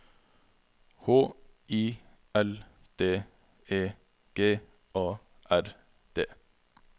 H I L D E G A R D